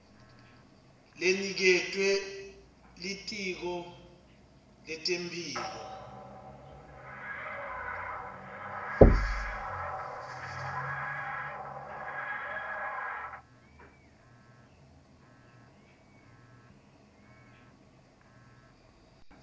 leniketwe litiko letemphilo